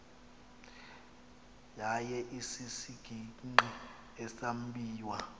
yaye isisigingqi esambiwa